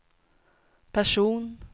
person